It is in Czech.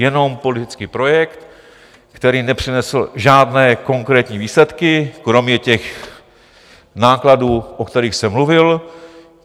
Jenom politický projekt, který nepřinesl žádné konkrétní výsledky, kromě těch nákladů, o kterých jsem mluvil.